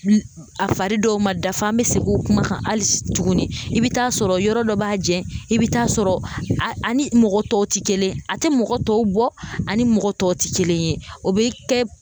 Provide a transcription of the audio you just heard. A fari dɔw ma dafa, an be segin o kuma kan hali tuguni ,i bi taa sɔrɔ yɔrɔ dɔ b'a jɛ, i bi taa sɔrɔ ani mɔgɔ tɔw te kelen ye, a tɛ mɔgɔ tɔw bɔ, ani mɔgɔ tɔw tɛ kelen ye ,o be kɛ